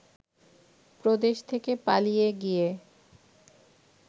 প্রদেশ থেকে পালিয়ে গিয়ে